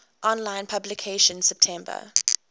online publication september